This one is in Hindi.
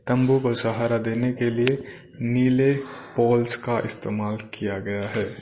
तंबू को सहारा देने के लिए नीले पोल्स का इस्तेमाल किया गया है।